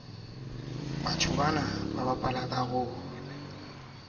o sa amaneng le baadimi